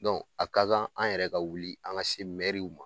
Dɔnku a ka kan an yɛrɛ ka wuli an ka se mɛruw ma